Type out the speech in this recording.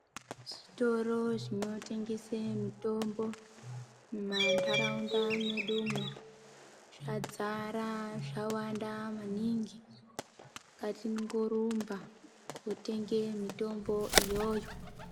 Zvitoro zvinetengese mitombo mumandaraunda mwedu umu zvadzara zvawanda maningi. Ngatingorumba kootenge mitombo iyoyo.